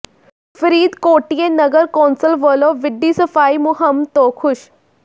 ਫਰੀਦਕੋਟੀਏ ਨਗਰ ਕੌਂਸਲ ਵਲੋਂ ਵਿੱਢੀ ਸਫਾਈ ਮੁਹਿੰਮ ਤੋਂ ਖੁਸ਼